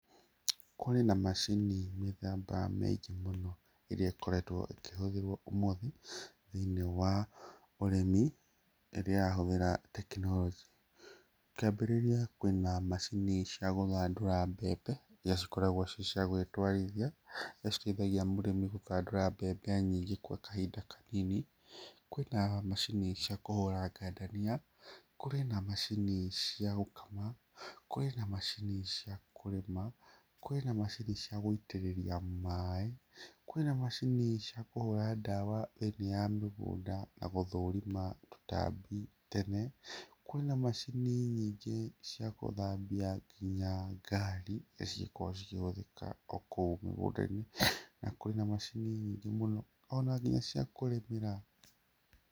Kũrĩ na macini mĩthemba mĩingĩ mũno ĩrĩa ĩkoretwo ĩkĩhũthĩrwo ũmũthĩ thĩinĩ wa ũrĩmi rĩrĩa yahũthĩra tekinoronjĩ. Kĩambĩrĩria kwĩna macini cia gũthandũra mbembe iria cikoragwo ciĩ cia gũĩtwarithia, iria citeithagia mũrĩmi gũthandũra mbembe nyingĩ kwa kahinda kanini. Kwĩna macini cia kũhũra ngandania, kũrĩ na macini cia gũkama, kwĩna macini cia kũrĩma, kwĩna macini cia gũitĩrĩria maĩ, kwĩna macini cia kũhũra ndawa ĩrĩa ya mĩgũnda na gũthũũrima tũtambi tene, kwĩna macini nyingĩ cia gũthambia nginya ngari iria cikoragwo cikĩhũthĩka o kũu mũgũnda-inĩ na kwĩna macini nyingĩ mũno ona nginya cia kũrĩmĩra.